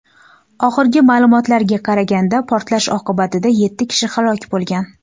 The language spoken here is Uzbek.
Oxirgi ma’lumotlarga qaraganda, portlash oqibatida yetti kishi halok bo‘lgan.